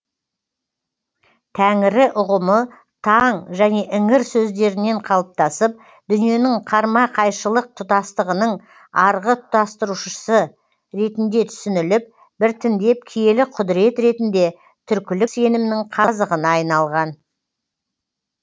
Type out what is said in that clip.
тәңірі ұғымы таң және іңір сөздерінен қалыптасып дүниенің қарма қайшылық тұтастығының арғы тұтастырушысы ретінде түсініліп біртіндеп киелі құдірет ретінде түркілік сенімнің қазығына айналған